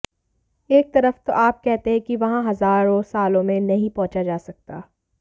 एक तरफ तो आप कहते हैं कि वहां हजारों सालों में नहीं पहुंचा जा सकता